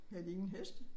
Havde de ingen heste?